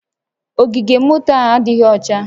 Ogige moto a adịghị ọcha